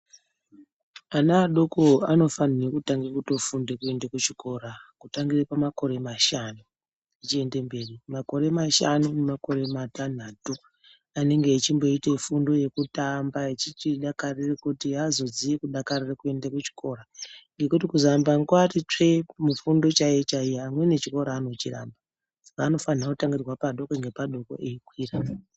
Ana adoko anofanirwe kutange kutofunda kuende kuchikora kutangire pamakore mashanu zvichiende mberi. Makore mashanu nemakore matantatu anenge echimboite fundo yekutamba echichidakarire kuti azoziye kudakarira kuende kuchikora ngokuti kuzoamba nekuati tsvee kumufundo chaiyo chaiyo amweni chikora anochiramba saka anofanirwa kutanga padoko nepadoko eikwira.